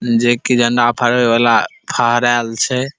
जे कि झंडा फहराबे वला फहराल छै।